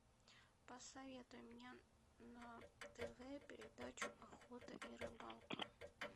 посоветуй мне на тв передачу охота и рыбалка